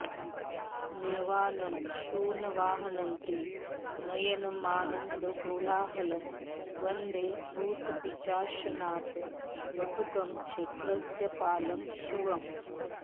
निर्वाणं शुनवाहनन्त्रिनयनमानन्दकोलाहलं वन्दे भूतपिशाचनाथ वटुकं क्षेत्रस्य पालं शिवम्